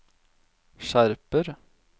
skjerper